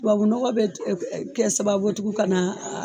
Tubabu nɔgɔ be kɛ sababu ye tukun ka na a